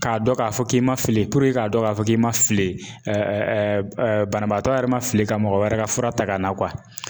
K'a dɔn k'a fɔ k'i man fili puruke k'a dɔn k'a fɔ k'i man fili banabaatɔ yɛrɛ man fili ka mɔgɔ wɛrɛ ka fura ta ka na